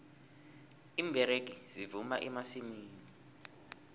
iimberegi zivuna emasimini